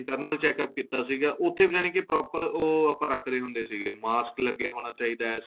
internal checkup ਕੀਤਾ ਸੀਗਾ ਉੱਥੇ ਯਾਨਿ ਕੀ proper ਉਹ ਆਪਾਂ ਰੱਖਦੇ ਹੁੰਦੇ ਸੀਗੇ ਮਾਸਕ ਲੱਗਿਆ ਹੋਣਾ ਚਾਹਿਦਾ ਹੈ